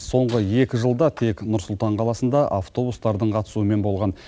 соңғы екі жылда тек нұр сұлтан қаласында автобустардың қатысуымен болған